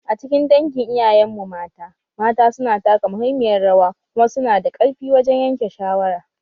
A cikin dangin iyayenmu mata, mata su na taka muhimmiyar rawa kuma su na da ƙarfi wajen yanke shawara